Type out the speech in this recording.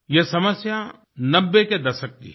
ये समस्या 90 के दशक की है